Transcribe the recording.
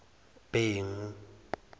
bhengu